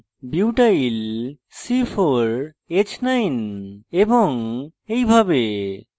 butyl butyl c4h9 এবং এইভাবে